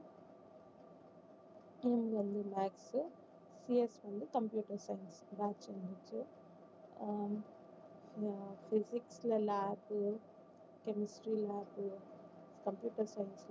M வந்து maths CS வந்து computer science last வந்துருச்சு ஆஹ் அஹ் physics ல lab chemistry lab computer science lab